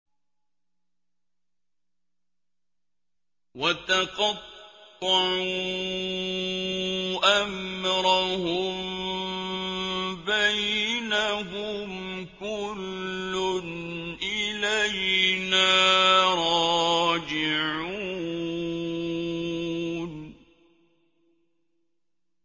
وَتَقَطَّعُوا أَمْرَهُم بَيْنَهُمْ ۖ كُلٌّ إِلَيْنَا رَاجِعُونَ